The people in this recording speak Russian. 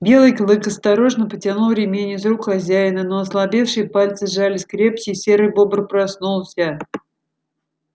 белый клык осторожно потянул ремень из рук хозяина но ослабевшие пальцы сжались крепче и серый бобр проснулся